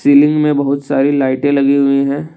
Ceiling में बहुत सारी लाइटे लगी हुई है।